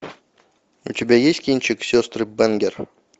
у тебя есть кинчик сестры бэнгер